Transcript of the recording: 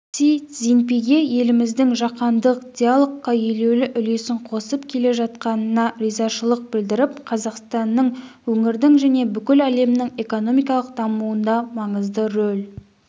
си цзиньпин еліміздің жаһандық диалогқа елеулі үлесін қосып келе жатқанына ризашылық білдіріп қазақстанның өңірдің және бүкіл әлемнің экономикалық дамуында маңызды рөл